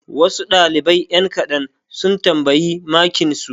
Wasu ɗalibai ƴan kaɗan sun tambayi makinsu.